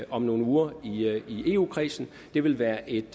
om nogle uger i eu kredsen det ville være et